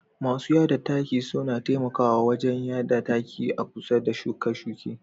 Masu yada taki suna taimakawa wajen yada taki a kusa da shuke-shuke.